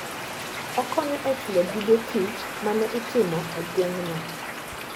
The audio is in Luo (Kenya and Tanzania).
Okonyo e chulo gige tich ma ne itimo e gweng'no.